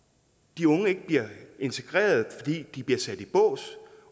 de unge ikke bliver integreret fordi de bliver sat i bås